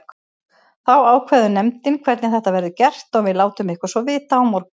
Þá ákveður nefndin hvernig þetta verður gert og við látum ykkur svo vita á morgun.